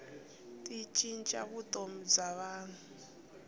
ti cinca vutomi bya vanhu